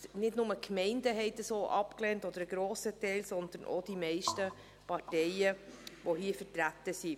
Nicht nur ein grosser Teil der Gemeinden hat dies abgelehnt, sondern auch die meisten Parteien, die hier vertreten sind.